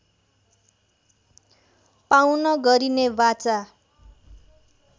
पाउन गरिने वाचा